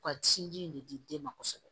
U ka sinji in de di den ma kosɛbɛ